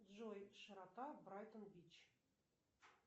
джой широта брайтон бич